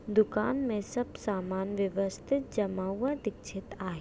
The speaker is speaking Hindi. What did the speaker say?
दुकान में सब समान व्यवस्थित जमावा दिक्षित आहे.